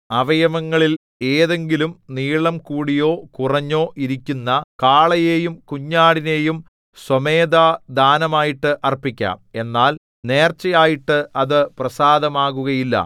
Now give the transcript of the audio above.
അവയവങ്ങളിൽ ഏതെങ്കിലും നീളം കൂടിയോ കുറഞ്ഞോ ഇരിക്കുന്ന കാളയെയും കുഞ്ഞാടിനെയും സ്വമേധാദാനമായിട്ട് അർപ്പിക്കാം എന്നാൽ നേർച്ചയായിട്ട് അത് പ്രസാദമാകുകയില്ല